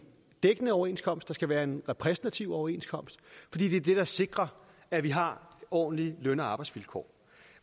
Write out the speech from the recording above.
dækkende overenskomst at der skal være en repræsentativ overenskomst fordi det er det der sikrer at vi har ordentlige løn og arbejdsvilkår